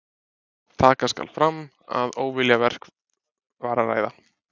Taka skal fram að um óviljaverk var að ræða.